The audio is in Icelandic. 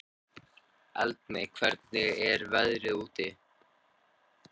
Eldmey, hvernig er veðrið úti?